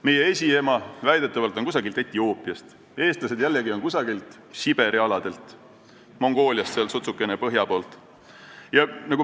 Meie esiema on pärit väidetavalt kusagilt Etioopiast, eestlased on pärit kusagilt Siberi aladelt, Mongooliast sutsukene põhja poolt.